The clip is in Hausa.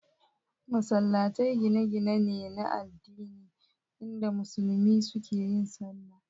Masallatai gine-gine ne na addini inda musulmi suke yin sallah.